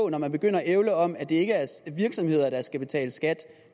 når man begynder at ævle om at det ikke er virksomheder der skal betale skat